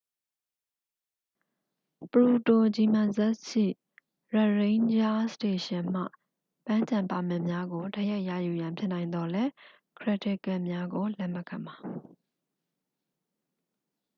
ပရူတို ဂျီမန်ဇက်စ် ရှိ ရရိန်းဂျားစတေရှင်မှ ပန်းခြံပါမစ်များကို တိုက်ရိုက်ရယူရန် ဖြစ်နိုင်သော်လည်း ခရက်ဒစ်ကဒ်များကို လက်မခံပါ